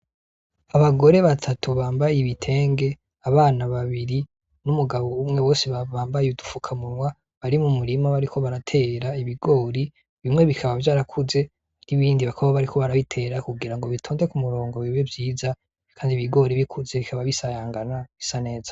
Abagore batatu bambaye ibitenge, abana babiri n'umugabo umwe bose bambaye udufukamunwa bari mu murima bariko baratera ibigori, bimwe bikaba vyarakuze, n'ibindi bakaba bariko barabitera kugira bitonde ku murongo bibe vyiza, kandi ibigori bikuze bikaba bisayangana bisa neza.